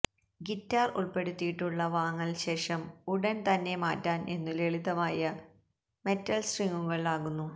guitar ഉൾപ്പെടുത്തിയിട്ടുള്ള വാങ്ങൽ ശേഷം ഉടൻ തന്നെ മാറ്റാൻ എന്നു ലളിതമായ മെറ്റൽ സ്ട്രിങ്ങുകൾ ആകുന്നു